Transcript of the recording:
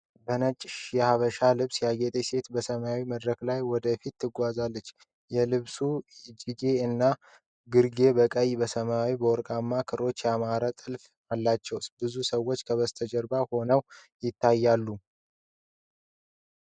በነጭ የሐበሻ ልብስ ያጌጠች ሴት በሰማያዊ መድረክ ላይ ወደ ፊት ትጓዛለች። የልብሱ እጅጌ እና ግርጌ በቀይ፣ በሰማያዊና በወርቅ ክሮች ያማረ ጥልፍ አላቸው። ብዙ ሰዎች ከበስተጀርባ ሆነው ይታያሉ።